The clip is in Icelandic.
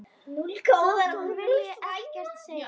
Þótt hún vilji ekkert segja.